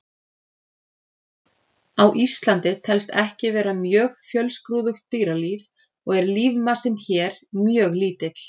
Á Íslandi telst ekki vera mjög fjölskrúðugt dýralíf og er lífmassinn hér mjög lítill.